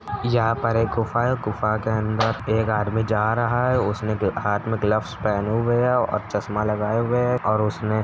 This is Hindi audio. '' यहाँ पर एक गुफा है गुफा के अंदर एक आदमी जा रहा है उसने हाँथ में ग्लव्स पहने हुए है और चश्मा लगाए हुए है। और उसने ''''--''''''